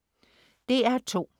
DR2: